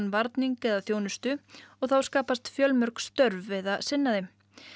varning eða þjónustu þá skapast fjölmörg störf við að sinna þeim